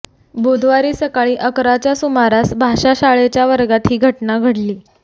बुधवारी सकाळी अकराच्या सुमारास भाषा शाळेच्या वर्गात ही घटना घडली